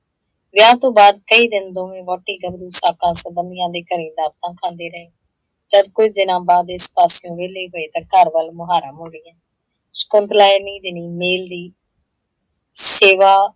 ਵਿਆਹ ਤੋਂ ਬਾਅਦ ਕਈ ਦਿਨ ਦੋਵੇਂ ਵਹੁਟੀ ਗੱਭਰੂ ਸਾਕਾ ਸੰਬੰਧੀਆਂ ਦੇ ਘਰੇ ਦਾਵਤਾਂ ਖਾਂਦੇ ਰਹੇ । ਜਦ ਕੁੱਝ ਦਿਨਾਂ ਬਾਅਦ ਇਸ ਪਾਸਿਓਂ ਵਿਹਲੇ ਹੋਏ ਤਾਂ ਘਰ ਵੱਲ ਮੁਹਾਰਾ ਮੋੜਿਆ। ਸ਼ਕੁੰਤਲਾ ਇਹਨੀ ਦਿਨੀਂ ਮੇਲ੍ਹ ਦੀ ਸੇਵਾ